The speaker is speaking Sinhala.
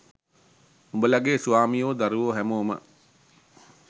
උඹලගෙ ස්වාමියෝ දරුවො හැමෝම